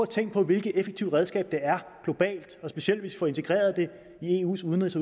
tænke på hvilket effektivt redskab det er specielt hvis vi får det integreret i eus udenrigs